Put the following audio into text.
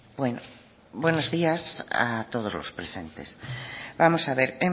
bueno buenos días a todos los presentes vamos a ver